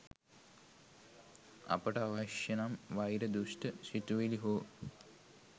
අපට අවශ්‍යනම් වෛර දුෂ්ඨ සිතුවිලි හෝ